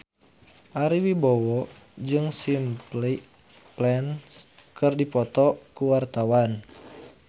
Ari Wibowo jeung Simple Plan keur dipoto ku wartawan